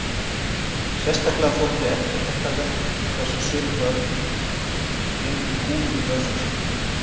Sérstaklega þótt eftirtektarvert hversu mörg börn geymdu kúlur í vösum sínum.